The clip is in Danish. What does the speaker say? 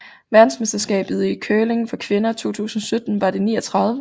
Verdensmesterskabet i curling for kvinder 2017 var det 39